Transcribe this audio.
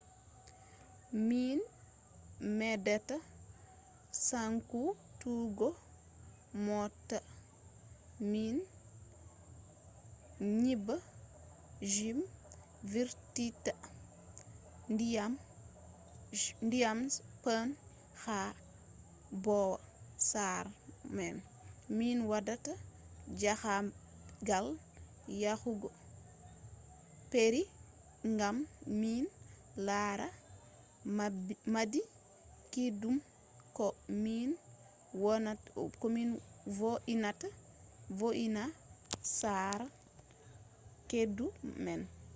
min medata sankutuggo mota min nyiba kuje vurtinta dyam je paune ha bwo sare men min wada jahangal yahugo peru gam min lara maadi kiddum ko min vo’ina sare keddu men